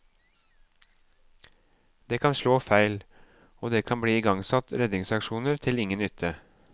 Det kan slå feil, og det kan bli igangsatt redningsaksjoner til ingen nytte.